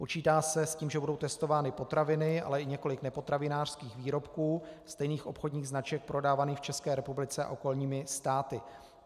Počítá se s tím, že budou testovány potraviny, ale i několik nepotravinářských výrobků stejných obchodních značek prodávaných v České republice a okolních státech.